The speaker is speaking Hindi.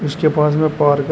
इसके पास में पार्क है।